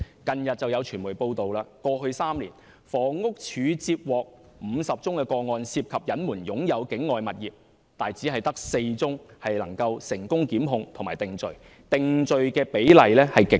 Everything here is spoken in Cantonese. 近日有傳媒報道，指過去3年，房屋署接獲50宗個案，涉及隱瞞擁有境外物業，但只有4宗能夠成功檢控並定罪，定罪的比例極低。